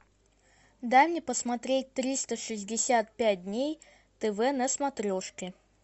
дай мне посмотреть триста шестьдесят пять дней тв на смотрешке